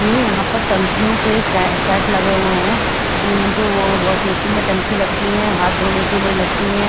ये यहाँ पर टंकियों के सेट लगे हुए हैं जो वॉशवेशन में टंकी लगती हैं हाथ धोने के लिए लगती है।